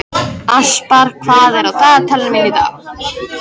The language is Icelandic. Aspar, hvað er á dagatalinu mínu í dag?